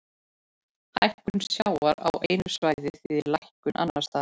Hækkun sjávar á einu svæði þýðir lækkun annars staðar.